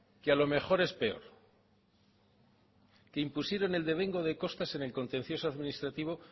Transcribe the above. que a lo mejor es peor que impusieron el devengo de costas en el contencioso administrativo